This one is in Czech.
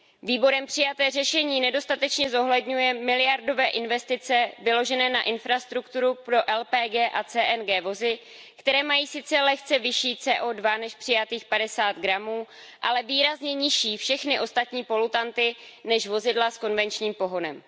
Výborem přijaté řešení nedostatečně zohledňuje miliardové investice vynaložené na infrastrukturu pro LPG a CNG vozy, které mají sice lehce vyšší CO2 než přijatých 50g, ale výrazně nižší všechny ostatní polutanty než vozidla s konvenčním pohonem.